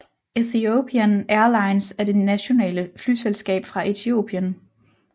Ethiopian Airlines er det nationale flyselskab fra Etiopien